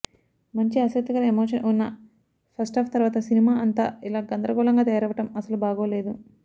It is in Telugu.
మంచి ఆసక్తికర ఎమోషన్ ఉన్న ఫస్టాఫ్ తర్వాత సినిమా అంతా ఇలా గందరగోళంగా తయారవ్వడం అస్సలు బాగోలేదు